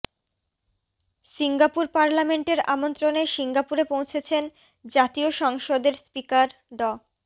Singapore পার্লামেন্টের আমন্ত্রণে সিঙ্গাপুরে পৌছেছেন জাতীয় সংসদের স্পিকার ড